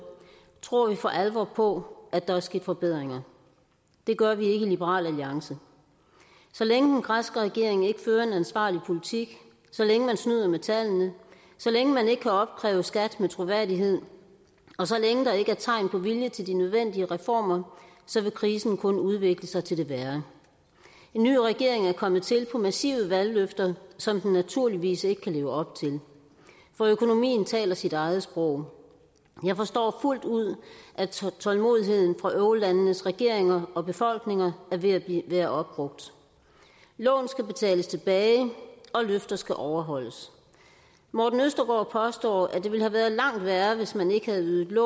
tror vi for alvor på at der vil ske forbedringer det gør vi ikke i liberal alliance så længe den græske regering ikke fører en ansvarlig politik så længe man snyder med tallene så længe man ikke kan opkræve skat med troværdighed og så længe der ikke er tegn på vilje til de nødvendige reformer så vil krisen kun udvikle sig til det værre en ny regering er kommet til på massive valgløfter som den naturligvis ikke kan leve op til for økonomien taler sit eget sprog jeg forstår fuldt ud at tålmodigheden fra eurolandenes regeringer og befolkninger er ved at være opbrugt lån skal betales tilbage og løfter skal overholdes morten østergaard påstår at det ville have været langt værre hvis man ikke havde ydet